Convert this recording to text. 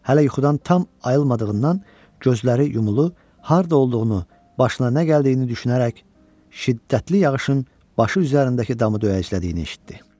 Hələ yuxudan tam ayılmadığından gözləri yumulu, harda olduğunu, başına nə gəldiyini düşünərək şiddətli yağışın başı üzərindəki damı döyəclədiyini eşitdi.